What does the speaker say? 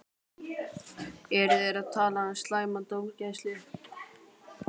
Eru þeir að tala um slæma dómgæslu?